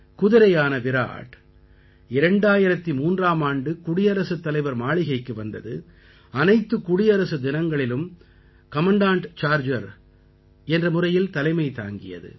குதிரையான விராட் 2003ஆம் ஆண்டு குடியரசுத் தலைவர் மாளிகைக்கு வந்தது அனைத்துக் குடியரசு தினங்களிலும் கமாண்டண்ட் சார்ஜர் என்ற முறையில் தலைமை தாங்கியது